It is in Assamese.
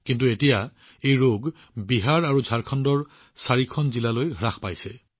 কিন্তু এতিয়া এই ৰোগটো কেৱল বিহাৰ আৰু ঝাৰখণ্ডৰ ৪খন জিলাতে সীমাৱদ্ধ হৈ আছে